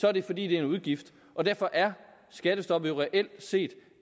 er det fordi det er en udgift og derfor er skattestoppet jo reelt set